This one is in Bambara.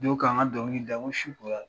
' ka an ka ndɔnkili da n ko su kola dɛ !